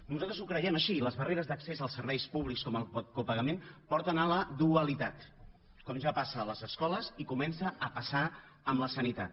nosaltres ho creiem així i les barreres d’accés als serves públics com el copagament porten a la dualitat com ja passa a les escoles i comença a passar amb la sanitat